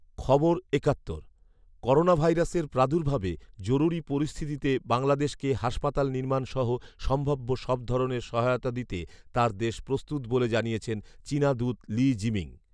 খবর একাত্তর, করোনাভাইরাসের প্রাদুর্ভাবে জরুরি পরিস্তিতিতে বাংলাদেশকে হাসপাতাল নির্মাণসহ সম্ভাব্য সব ধরনের সহায়তা দিতে তার দেশ প্রস্তুত বলে জানিয়েছেন চীনা দূত লি জিমিং